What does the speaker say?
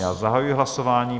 Já zahajuji hlasování.